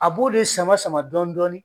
A b'o de sama sama dɔɔni dɔɔni